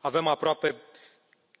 Avem aproape